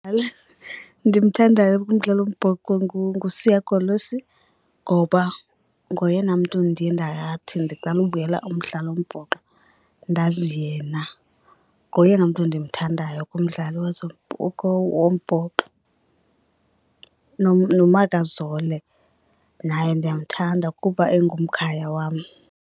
ndimthandayo kumdlalo wombhoxo nguSiya Kolisi ngoba ngoyena mntu ndiye ndathi ndiqala ubukela umdlalo wombhoxo ndazi yena. Ngoyena mntu ndimthandayo kumdlalo wombhoxo. NoMakazole naye ndiyamthanda kuba engumkhaya wam.